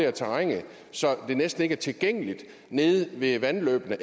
af terrænet så det næsten ikke er tilgængeligt nede ved vandløbene